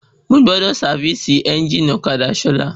Mo gbọ́dọ̀ sávìsì ẹ́njìnì ọ̀kadà Sola